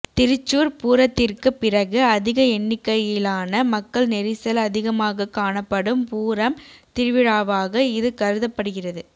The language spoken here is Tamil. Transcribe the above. திருச்சூர் பூரத்திற்குப் பிறகு அதிக எண்ணிக்கையிலான மக்கள் நெரிசல் அதிகமாகக் காணப்படும் பூரம் திருவிழாவாக இது கருதப்படுகிறது